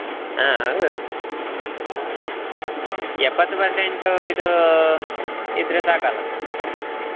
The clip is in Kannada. ಹಾ ಹೌದು ಎಪ್ಪತ್ತು percent ಇದು ಇದ್ರೆ ಸಾಕ ಅಲ್ಲಾ .